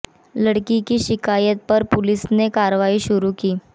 लड़की की शिकायत पर पुलिस ने कार्रवाई शुरू की